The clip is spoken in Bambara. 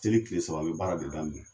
Seli tile saba an bɛ baara de daminɛ.